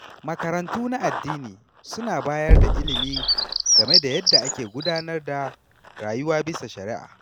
Makarantu na addini suna bayar da ilimi game da yadda ake gudanar da rayuwa bisa shari’a.